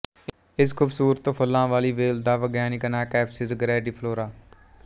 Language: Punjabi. ਇਸ ਖੂਬਸੂਰਤ ਫੁੱਲਾਂ ਵਾਲੀ ਵੇਲ ਦਾ ਵਿਗਿਆਨਿਕ ਨਾਂਅ ਕੈਂਪਸਿਜ਼ ਗ੍ਰੈਂਡੀਫਲੋਰਾ